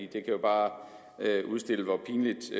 kan jo bare udstille hvor pinligt